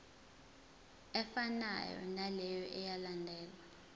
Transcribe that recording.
efanayo naleyo eyalandelwa